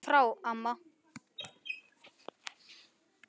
Farðu frá amma!